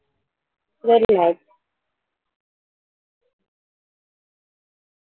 Good night.